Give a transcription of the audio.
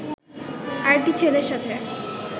আরেকটি ছেলের সাথে